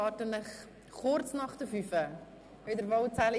Ich erwarte Sie hier kurz nach 17.00 Uhr wieder vollzählig.